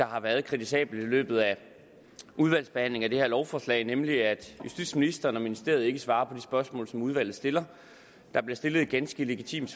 har været kritisabelt i løbet af udvalgsbehandlingen af det her lovforslag nemlig at justitsministeren og ministeriet ikke svarer på de spørgsmål som udvalget stiller der blev stillet et ganske legitimt